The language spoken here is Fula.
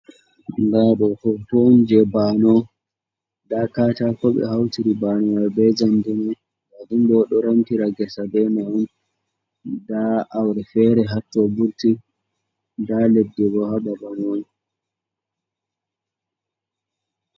Nda ɗo hoto on je banewo nda katako ɓe hautiri banewo mai be jamndi, ɓeɗo remtira ngesa beman nda aure fere hatton vurti nda leddi bo ha Babal man.